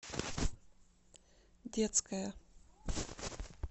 детская